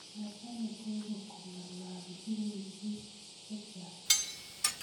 machame gogo kongalalchini biik chechang